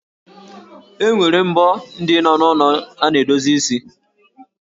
E nwere mbo ndị nọ n'ụlọ ndị na-edozi isi?